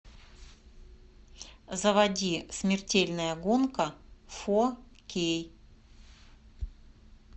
заводи смертельная гонка фо кей